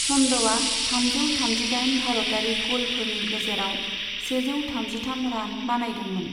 चन्दआ थामजौ थामजिदाइन भारतारि ग'लफोरनि गेजेराव सेजौ थामजिथाम रान बानायदोंमोन।